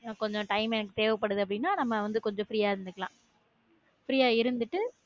இன்னும் கொஞ்சம் time எனக்கு தேவைப்படுதுன்னா நம்ம வந்து கொஞ்சம் free ஆ இருந்துக்கலாம் free இருந்துட்டு